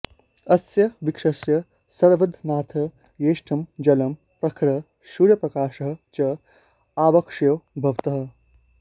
अस्य वृक्षस्य संवर्धनार्थं यथेष्टं जलं प्रखरः सूर्यप्रकाशः च आवश्यकौ भवतः